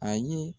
A ye